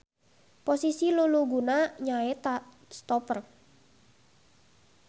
Posisi luluguna nyaeta stoper.